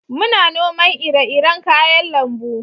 muna noman ire-iren kayan lambu